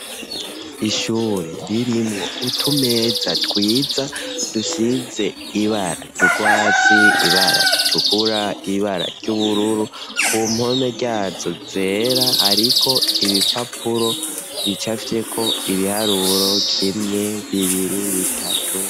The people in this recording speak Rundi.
Ishure ririmwo utumeza twiza dusize ibara ry'urwatsi, ibara ritukura, ibara ry'ubururu ku mpome ryazo zera ariko ibipapuro bicafyeko ibiharuro kimwe, bibiri, bitatu.